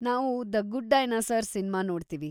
ನಾವು the good dinosaur cinema ನೋಡ್ತೀವಿ.